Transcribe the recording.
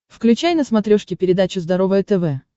включай на смотрешке передачу здоровое тв